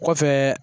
Kɔfɛ